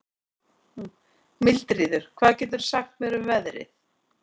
Mildríður, hvað geturðu sagt mér um veðrið?